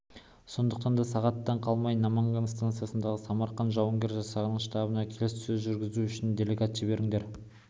сондықтан да сағаттан қалмай наманган станциясындағы самарқан жауынгер жасағының штабына келіссөз жүргізу үшін делегат жіберіңдер